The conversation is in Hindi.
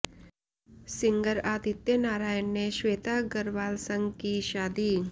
सिंगर आदित्य नारायण ने श्वेता अग्रवाल संग की शादी